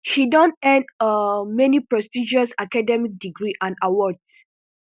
she don earn um many prestigious academic degrees and awards